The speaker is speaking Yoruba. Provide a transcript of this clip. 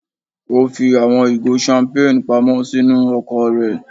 O fi awọn igo champagne pamọ sinu ọkọ rẹ.